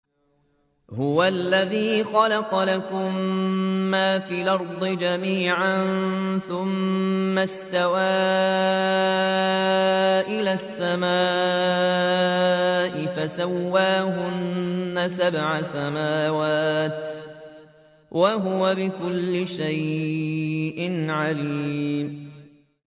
هُوَ الَّذِي خَلَقَ لَكُم مَّا فِي الْأَرْضِ جَمِيعًا ثُمَّ اسْتَوَىٰ إِلَى السَّمَاءِ فَسَوَّاهُنَّ سَبْعَ سَمَاوَاتٍ ۚ وَهُوَ بِكُلِّ شَيْءٍ عَلِيمٌ